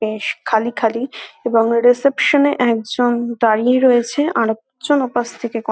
বেশ খালি খালি এবং রিসেপশন -এ একজন দাঁড়িয়ে রয়েছে আরেক জন ওপাশ থেকে ক --